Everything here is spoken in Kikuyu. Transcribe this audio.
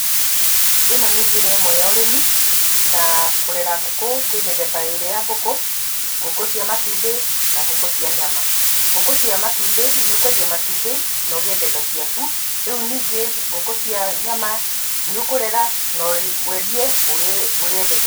Ĩno nĩ njĩra ĩmwe ya ũrĩmi, na kũrera ngũkũ kũrĩ mĩthemba ĩrĩ ya ngũkũ, ngũkũ cia matumbĩ na ngũkũ cia nyama. Ngũkũ cia matumbĩ nĩ ũkwendĩa matumbĩ na ũgĩe mbeca ciaku. Rĩu ningĩ, ngũkũ cia nyama nĩ ũkũrera na wendie ũrĩe mbeca.